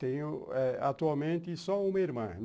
Tenho eh atualmente só uma irmã.